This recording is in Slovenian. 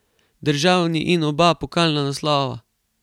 Državni in oba pokalna naslova.